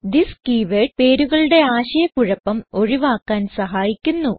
this keyword പേരുകളുടെ ആശയ കുഴപ്പം ഒഴിവാക്കാൻ സഹായിക്കുന്നു